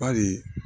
Bari